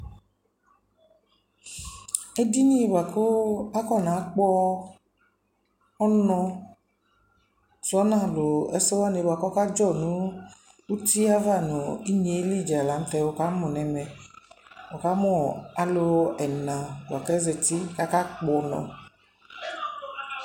ɛdini bʋakʋ akɔna gbɔ ɔnʋ zɔnʋ alʋ ɛkʋ wani kʋ ɔka dzɔ nʋ ʋtiɛ aɣa nʋ inyɛ li lantɛ wʋkamʋ nʋ ɛmɛ, wʋkamʋ alʋ ɛla bʋakʋ azɛti bʋakʋ aka gbɔ ʋnɔ